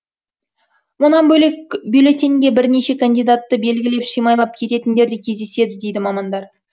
мұнан бөлек бюллетеньге бірнеше кандидатты белгілеп шимайлап кететіндер де кездеседі дейді мамандар